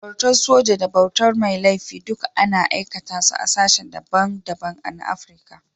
Bautar soji da bautar mai laifi duka ana aikata su a sashen da ban da ban na Afrika.